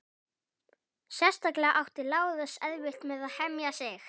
Sérstaklega átti Lárus erfitt með að hemja sig.